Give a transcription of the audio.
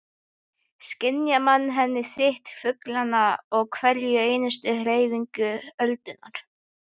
Skynja með henni þyt fuglanna og hverja einustu hreyfingu öldunnar.